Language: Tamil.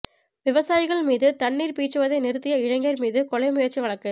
விவசாயிகள் மீது தண்ணீர் பீய்ச்சுவதை நிறுத்திய இளைஞர் மீது கொலை முயற்சி வழக்கு